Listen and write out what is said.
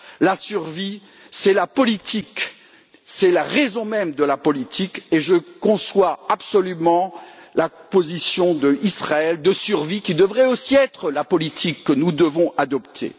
La survie, c'est la politique, c'est la raison même de la politique, et je conçois absolument la position de survie d'Israël, qui devrait aussi être la politique que nous devons adopter.